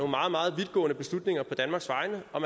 meget meget vidtgående beslutninger på danmarks vegne og